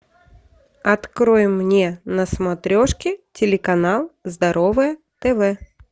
открой мне на смотрешке телеканал здоровое тв